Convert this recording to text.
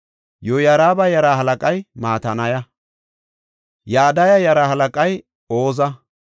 Yoyaariba yaraa halaqay Matanaya. Yadaya yaraa halaqay Oza.